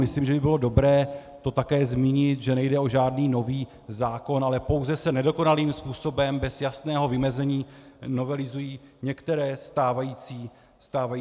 Myslím, že by bylo dobré to také zmínit, že nejde o žádný nový zákon, ale pouze se nedokonalým způsobem, bez jasného vymezení, novelizují některé stávající zákony.